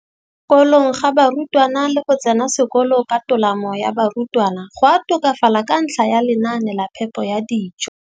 Kolong ga barutwana le go tsena sekolo ka tolamo ga barutwana go a tokafala ka ntlha ya lenaane la phepo ya dijo.